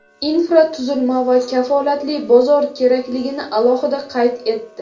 infratuzilma va kafolatli bozor kerakligini alohida qayd etdi.